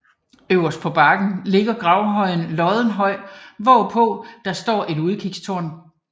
Øverst på bakken ligger gravhøjen Loddenhøj hvorpå der står et udsigtstårn